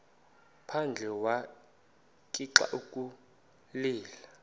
phandle wagixa ukulila